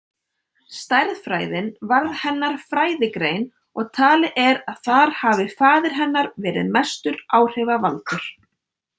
Stærðfræðin varð hennar fræðigrein og talið er að þar hafi faðir hennar verið mestur áhrifavaldur.